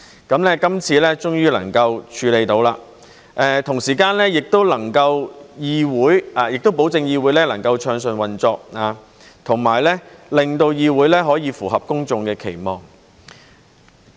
今次終於能夠處理，同時也能夠保證議會能夠暢順運作，以及令議會可以符合公眾的期望。